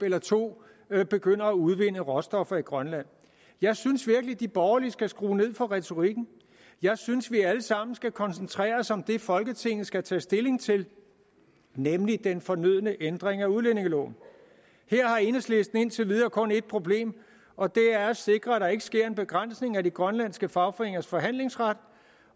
eller to begynder at udvinde råstoffer i grønland jeg synes virkelig at de borgerlige skal skrue ned for retorikken jeg synes at vi alle sammen skal koncentrere os om det folketinget skal tage stilling til nemlig den fornødne ændring af udlændingeloven her har enhedslisten indtil videre kun ét problem og det er at sikre at der ikke sker en begrænsning af de grønlandske fagforeningers forhandlingsret